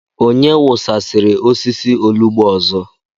Onye wụsasịrị osisi olugbu ọzọ?